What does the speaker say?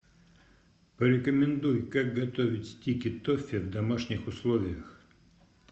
порекомендуй как готовить стики тоффи в домашних условиях